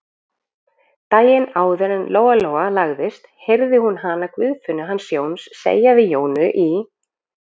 Daginn áður en Lóa-Lóa lagðist heyrði hún hana Guðfinnu hans Jóns segja við Jónu í